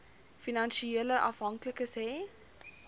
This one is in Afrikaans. finansiële afhanklikes hê